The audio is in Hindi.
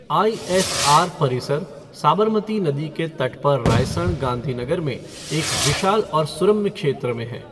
आई.एस.आर. परिसर साबरमती नदी के तट पर रायसन, गांधीनगर में एक विशाल और सुरम्य क्षेत्र में है।